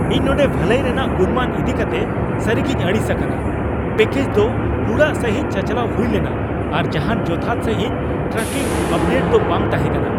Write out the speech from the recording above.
ᱤᱧ ᱱᱚᱸᱰᱮ ᱵᱷᱟᱹᱞᱟᱹᱭ ᱨᱮᱭᱟᱜ ᱜᱩᱱᱢᱟᱱ ᱤᱫᱤ ᱠᱟᱛᱮ ᱥᱟᱹᱨᱤᱜᱤᱧ ᱟᱹᱲᱤᱥ ᱟᱠᱟᱱᱟ ᱾ᱯᱮᱹᱠᱮᱡᱽ ᱫᱚ ᱦᱩᱲᱟᱹᱜ ᱥᱟᱹᱦᱤᱡ ᱪᱟᱪᱟᱞᱟᱣ ᱦᱩᱭ ᱞᱮᱱᱟ, ᱟᱨ ᱡᱟᱦᱟᱱ ᱡᱚᱛᱷᱟᱛ ᱥᱟᱹᱦᱤᱡ ᱴᱨᱟᱠᱤᱝ ᱟᱯᱰᱮᱴ ᱫᱚ ᱵᱟᱝ ᱛᱟᱦᱮᱸ ᱠᱟᱱᱟ !